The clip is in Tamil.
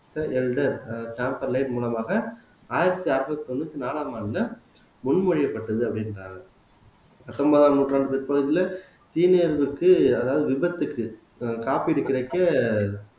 மூலமாக ஆயிரத்து அறுநூற்று தொண்ணூற்று நாலாம் ஆண்டுல முன்மொழியப்பட்டது அப்படின்றாங்க பத்தொன்பதாம் நூற்றாண்டு பிற்பகுதியில சீனியர்களுக்கு அதாவது விபத்துக்கு காப்பீட்டு கிடைக்க